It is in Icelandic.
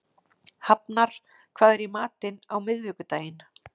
Hafnar, hvað er í matinn á miðvikudaginn?